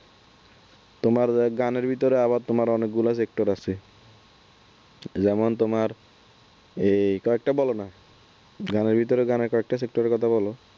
তোমার গানের ভিতরে আবার তোমার অনেকগুলো sector আছে যেমন তোমার এই কয়েকটা বলোনা গানের ভেতরে কয়েকটা গানের sector র কথা বল